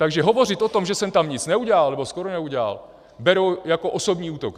Takže hovořit o tom, že jsem tam nic neudělal nebo skoro neudělal, beru jako osobní útok.